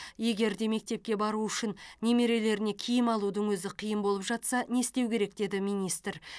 егер де мектепке бару үшін немерелеріне киім алудың өзі қиын болып жатса не істеу керек деді министр